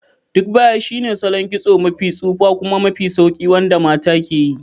Duk baya shine salon kitso mafi tsufa kuma mafi sauƙi wanda mata ke yi.